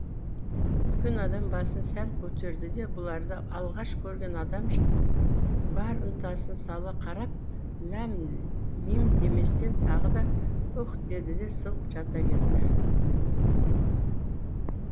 үлкен адам басын сәл көтерді де бұларды алғаш көрген адамша бар ынтасын сала қарап ләм мим деместен тағы да үх деді де сылқ жата кетті